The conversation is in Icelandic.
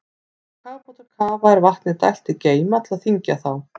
Þegar kafbátar kafa er vatni dælt í geyma til að þyngja þá.